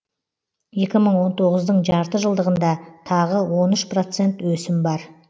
екі мың он тоғыздың жарты жылдығында тағы он үш процент өсім бар